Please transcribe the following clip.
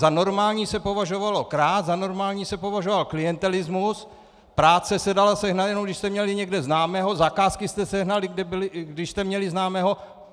Za normální se považovalo krást, za normální se považoval klientelismus, práce se dala sehnat, jenom když jste měli někde známého, zakázky jste sehnali, když jste měli známého.